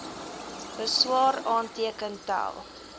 beswaar aanteken tel